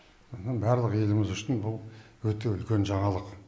мұның барлығы еліміз үшін бұл өте үлкен жаңалық